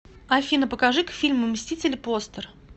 афина покажи к фильму мстители постер